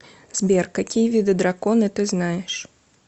сбер какие виды драконы ты знаешь